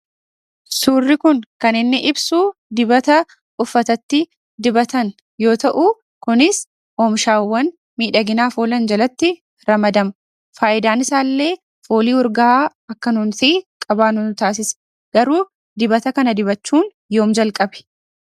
Suurri kun kan inni ibsu dibata uffatatti dibatan yoo ta'u, kunis oomishaawwan miidhaginaaf oolan jalatti ramadama. Faayidaan isaallee, foolii urgaa'aa akka nuti qabaannu nu taasisa. Garuu dibata kana dibachuun yoom jalqabe?